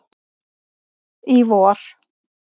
í vor.